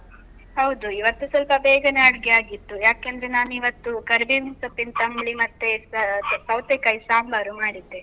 ಹೌದು, ಇವತ್ತು ಸ್ವಲ್ಪ ಬೇಗನೆ ಅಡ್ಗೆ ಆಗಿತ್ತು. ಯಾಕೆಂದ್ರೆ ನಾನಿವತ್ತು ಕರಿಬೇವಿನ್ ಸೊಪ್ಪಿನ್ ತಂಬ್ಳಿ ಮತ್ತೆ ಸೌತೆಕಾಯಿ ಸಾಂಬಾರು ಮಾಡಿದ್ದೆ.